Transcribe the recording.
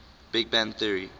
big bang theory